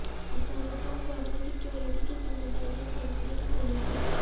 افغانستان کو اپنی سیکیورٹی کی ذمہ داریاں سوپنے کی تیاری